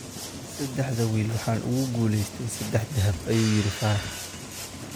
Saddexda wiil waxaan ugu guuleystay saddex dahab, ayuu yiri Faarax.